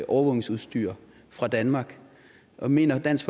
overvågningsudstyr fra danmark og mener dansk